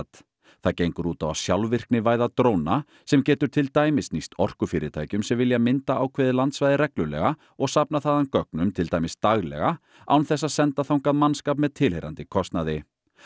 það gengur út á að sjálfvirknivæða dróna sem getur til dæmis nýst orkufyrirtækjum sem vilja mynda ákveðið landsvæði reglulega og safna þaðan gögnum til dæmis daglega án þess að senda þangað mannskap með tilheyrandi kostnaði